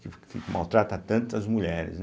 Que maltrata tantas mulheres, né.